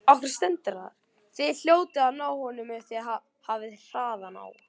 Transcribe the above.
Þið hljótið að ná honum ef þið hafið hraðan á.